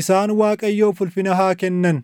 Isaan Waaqayyoof ulfina haa kennan;